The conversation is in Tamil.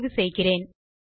என தேர்வு செய்கிறேன்